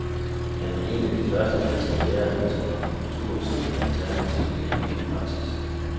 Han var en af de første danske læger, der tog akupunktur op som et alternativ i almen praksis.